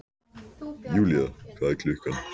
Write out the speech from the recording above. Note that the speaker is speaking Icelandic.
Julia, hvað er klukkan?